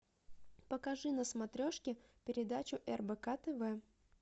покажи на смотрешке передачу рбк тв